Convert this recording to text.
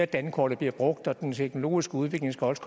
dankortet bliver brugt og sådan at den teknologiske udvikling også